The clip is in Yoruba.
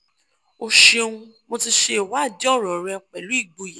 o ṣeun mo ti ṣe iwadi ọran rẹ pẹlu igboya